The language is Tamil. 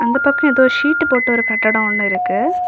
அந்த பக்கம் எதோ ஷீட் போட்ட ஒரு கட்டடம் ஒன்னு இருக்கு.